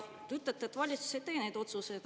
Te ütlete, et valitsus ei tee neid otsuseid.